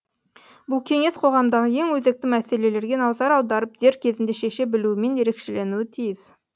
бұл кеңес қоғамдағы ең өзекті мәселелерге назар аударып дер кезінде шеше білуімен ерекшеленуі тиіс